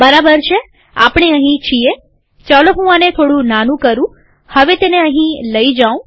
બરાબર છેઆપણે અહીં છીએચાલો હું આને થોડું નાનું કરુંહવે તેને અહીં લઇ જાઉં